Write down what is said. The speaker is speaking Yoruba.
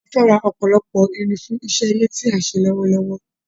A fẹ́ ra ọ̀pọ̀lọpọ̀ irin fún iṣẹ́ ilé tí à ń ṣe lọ́wọ́lọ́wọ́